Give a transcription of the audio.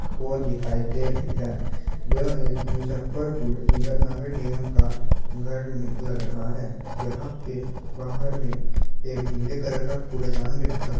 वो दिखाई दे रही है जो एक मुजफ्फरपुर नगर निगम का घर लग रहा है यहाँ पे बाहर में एक नीले कलर का कूड़ेदान भी रखा गया --